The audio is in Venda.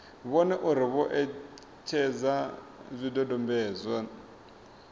vhone uri vho etshedza zwidodombedzwa